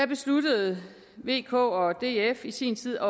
besluttede vk og df i sin tid